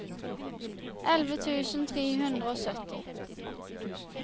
elleve tusen tre hundre og sytti